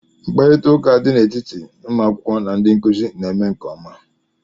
Mkparịta ụka dị n'etiti ụmụ akwụkwọ na ndị nkuzi na-eme nke ọma